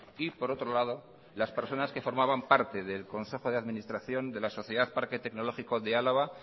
y por otro lado las personas que formaban parte del consejo de administración de la sociedad parque tecnológico de álava